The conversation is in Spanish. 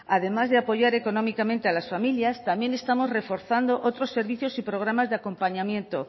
además de apoyar económicamente a las familias también estamos reforzando otros servicios y programas de acompañamiento